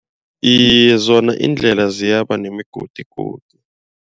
Iye zona iindlela ziyaba nemigodigodi.